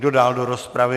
Kdo dál do rozpravy?